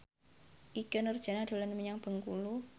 Ikke Nurjanah dolan menyang Bengkulu